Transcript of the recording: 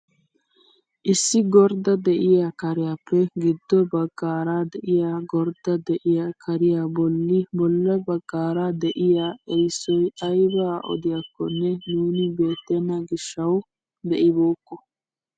Issi gordda de'iyaa kariyaappe giddo baggaara de'iyaagordda de'iyaa kariyaa bolli bolla baggaara de'iyaa erissoy aybaa odiyaagakonne nuuni beettena gishshawu be'ibookko.